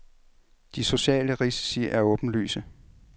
De sociale risici er åbenlyse.